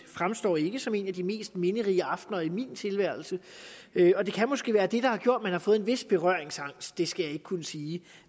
fremstår ikke som en af de mest minderige aftener i min tilværelse og det kan måske være det der har gjort at man har fået en vis berøringsangst det skal jeg ikke kunne sige